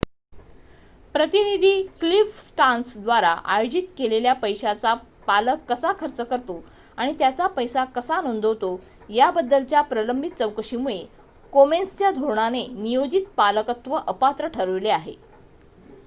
प्रतिनिधी Cliff Stearns द्वारा आयोजित केलेल्या पैशांचा पालक कसा खर्च करतो आणि त्याचा पैसा कसा नोंदवतो याबद्दलच्या प्रलंबित चौकशीमुळे कोमेन्सच्या धोरणाने नियोजित पालकत्व अपात्र ठरविले आहे